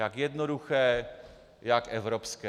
Jak jednoduché, jak evropské!